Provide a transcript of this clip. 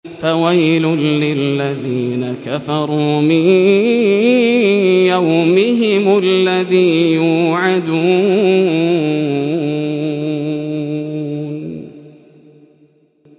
فَوَيْلٌ لِّلَّذِينَ كَفَرُوا مِن يَوْمِهِمُ الَّذِي يُوعَدُونَ